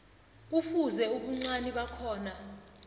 kufuze ubuncani bakhona